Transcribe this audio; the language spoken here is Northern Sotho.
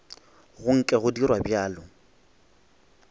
go nke go dirwa bjalo